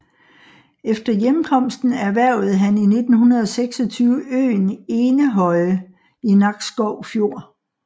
Efter hjemkomsten erhvervede han i 1926 øen Enehøje i Nakskov Fjord